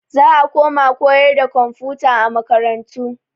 Za a koma koyarwa da komfuta a makarantu.